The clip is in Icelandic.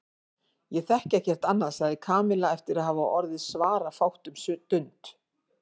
Ég þekki ekkert annað sagði Kamilla eftir að hafa orðið svarafátt um stund.